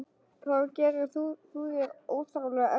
Þá gerir þú þér óþarflega erfitt fyrir.